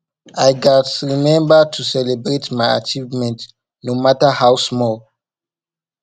i gats remember to celebrate my achievements no matter how small